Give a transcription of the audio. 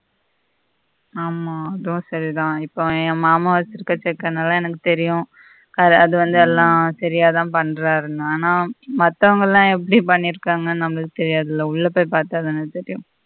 ஆமா அதுவும் சரி தான் இப்ப என் மாமா வெச்சிக்கிற எல்லாம் எனக்கு தெரியும் அது வந்து எல்லாம் சரியாதான் பன்றாரு ஆனா மத்தவங்களெல்லாம் எப்படி பண்ணியிருக்காங்க நமக்கு தெரியாது இல்ல உள்ள போயி பார்த்தா தானெ தெரியும்